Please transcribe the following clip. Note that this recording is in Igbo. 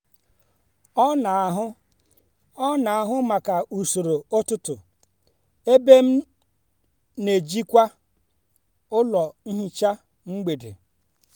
ọ n'ahụ ọ n'ahụ maka usoro ụtụtụ ebe m n'ejikwa ọlụ nhicha mgbede